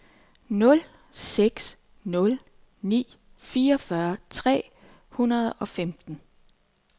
nul seks nul ni fireogfyrre tre hundrede og femten